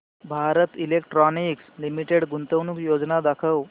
Bharat electronics limited गुंतवणूक योजना दाखव